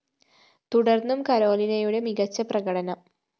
തുടര്‍ന്നും കരോലിനയുടെ മികച്ച പ്രകടനം